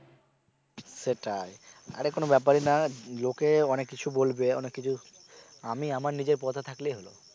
সেটাই আরে কোন ব্যাপ্যারই না লোকে অনেক কিছু বলবে অনেক কিছু আমি আমার নিজের পথে থাকলেই হল